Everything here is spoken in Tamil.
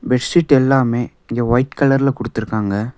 பெட்ஷீட் எல்லாமே இங்க ஒய்ட் கலர்ல குடுத்திருக்காங்க.